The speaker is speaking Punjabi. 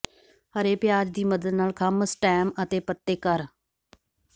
ਹਰੇ ਪਿਆਜ਼ ਦੀ ਮਦਦ ਨਾਲ ਖੰਭ ਸਟੈਮ ਅਤੇ ਪੱਤੇ ਕਰ